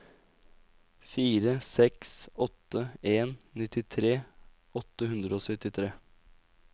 fire seks åtte en nittitre åtte hundre og syttitre